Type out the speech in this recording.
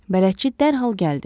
Bələdçi dərhal gəldi.